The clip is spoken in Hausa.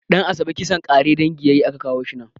Ɗan'asabe kisan ƙare dangi yayi a ka kawo shi nan